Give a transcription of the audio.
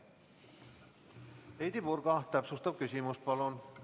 Heidy Purga, täpsustav küsimus palun!